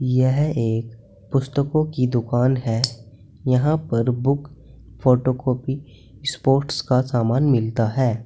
यह एक पुस्तकों की दुकान है यहां पर बुक फोटो कॉपी स्पोर्ट्स का सामान मिलता है।